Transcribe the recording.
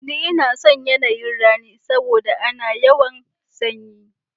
N'na son yanayin ra'ni saboda ana yawan tsanyi.